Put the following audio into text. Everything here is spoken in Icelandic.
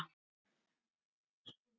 Fimm handteknir í Ósló